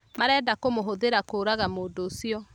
Marenda kũmũhũthĩra kũũraga mũndũũcio